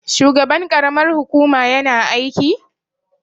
shugaban karamar hukuma yana aiki?